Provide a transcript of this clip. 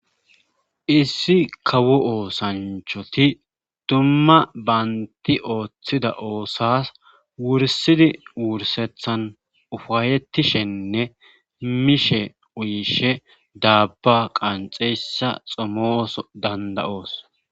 Issi kawo oosanchoti dumma baynti ooththida oosas wursidi wursethan ufayetishenne mishe uyishe daabba qanxeyssa xomooso danda7oos